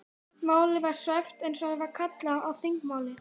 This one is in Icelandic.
Málið var svæft eins og það er kallað á þingmáli.